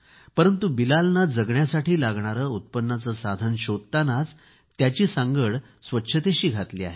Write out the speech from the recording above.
परंतु बिलालने जगण्यासाठी लागणारे उत्पन्नाचे साधन शोधतानाच त्याची सांगड स्वच्छतेशी घातली आहे